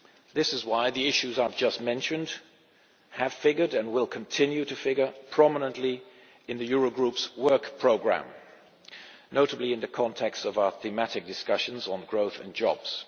This is why the issues I have just mentioned have figured and will continue to figure prominently in the Eurogroup's work programme, notably in the context of our thematic discussions on growth and jobs.